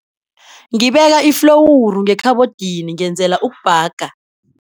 Ngibeka iflowuru ngekhabhodini ngenzela ukubhaga.